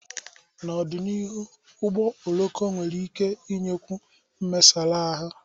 N'ọdịnihu, ụgbọ oloko nwere ike inyekwu mesara ahụ.